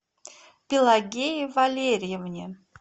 пелагее валерьевне